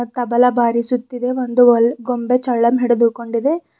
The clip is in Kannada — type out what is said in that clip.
ತಬಲ ಬಾರಿಸುತ್ತಿದೆ ಒಂದು ವಲ್ ಗೊಂಬೆ ಚಲ್ಲನ್ ಹಿಡಿದುಕೊಂಡಿದೆ.